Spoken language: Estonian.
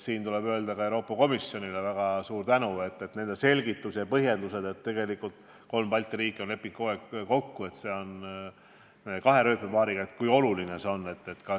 Siin tuleb öelda väga suur tänu just Euroopa Komisjonile, nende selgitused ja põhjendused, kuidas kolm Balti riiki on kokku leppinud, et kogu raudtee tuleb kahe rööpapaariga, olid väga olulised.